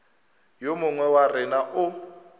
yo mongwe wa rena o